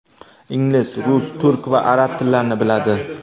Ingliz, rus, turk va arab tillarini biladi.